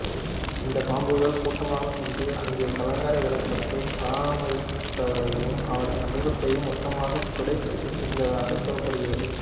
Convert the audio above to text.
இந்த பாம்புகள் கூட்டமாக சென்று அங்கே கலங்கரை விளக்கத்தை பாராமரித்தவரையும் அவரது குடும்பத்தையும் மொத்தமாக துடைத்து எறிந்ததாக கூறப்படுகிறது